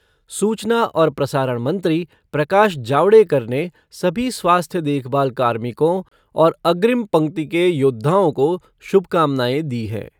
सूचना और प्रसारण मंत्री प्रकाश जावडेकर ने सभी स्वास्थ्य देखभाल कार्मिकों और अग्रिम पक्ति के योद्धाओं को शुभकामनाएं दी है।